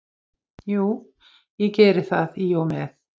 Jú, ég geri það í og með.